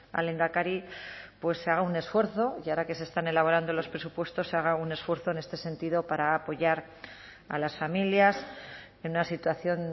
al lehendakari pues se haga un esfuerzo y ahora que se están elaborando los presupuestos se haga un esfuerzo en este sentido para apoyar a las familias en una situación